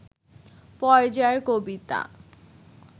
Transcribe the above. পর্যায়ের কবিতা